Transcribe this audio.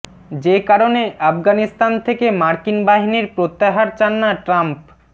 যে কারণে আফগানিস্তান থেকে মার্কিন বাহিনীর প্রত্যাহার চান না ট্রাম্প